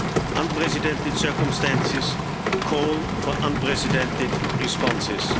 Unprecedented circumstances call for unprecedented responses.